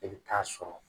E bɛ taa sɔrɔ